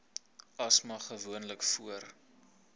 asma gewoonlik voor